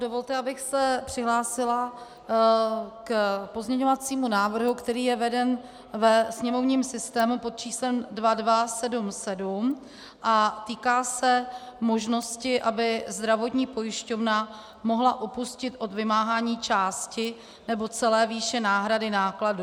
Dovolte, abych se přihlásila k pozměňovacímu návrhu, který je veden ve sněmovním systému pod číslem 2277 a týká se možnosti, aby zdravotní pojišťovna mohla upustit od vymáhání části nebo celé výše náhrady nákladů.